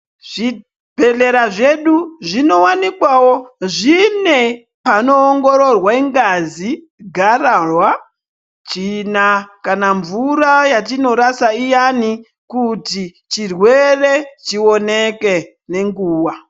Zvibhedhleya zvedu zvinowanikwawo zvine panoongororwe ngazi, gararwa, tsvina kana mvura yatinorasa iyani kuti chirwere chioneke nenguwa.